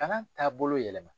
Kalan taabolo yɛlɛma